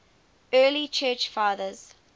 early church fathers